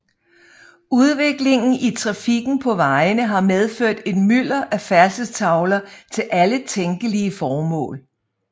Udviklingen i trafikken på vejene har medført et mylder af færdselstavler til alle tænkelige formål